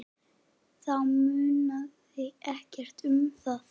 Þá munaði ekkert um það.